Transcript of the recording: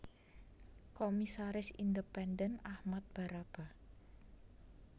Komisaris Independen Achmad Baraba